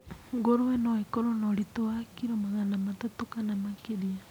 Ngũrũe no ĩkorwo na ũritũ wa kiro magana matatũ kana makĩria.